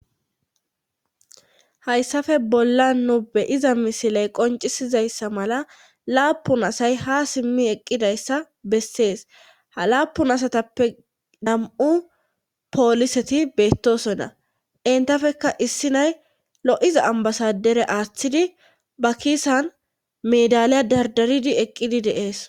Hayssafe bolla nu beyiza misiley qoncisizayssa mala laapun asay ha simmi eqqidayssa bessees ha laapun asatappe dam'u pooliseti beettosonna intafekka issi nay lo'iza ambasadere aaththidi ba kiisan medaliya dardaridi eqqidi deees.